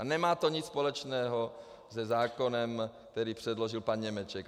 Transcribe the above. A nemá to nic společného se zákonem, který předložil pan Němeček.